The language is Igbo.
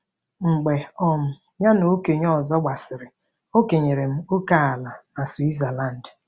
Mgbe um ya na okenye ọzọ gbasịrị, o kenyere m ókèala na Switzerland.